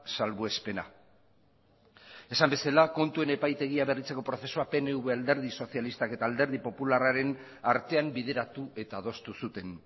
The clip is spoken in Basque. salbuespena esan bezala kontuen epaitegia berritzako prozesua pnv alderdi sozialista eta alderdi popularraren artean bideratu eta adostu zuten